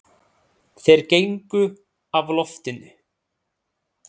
Þeir gengu af loftinu.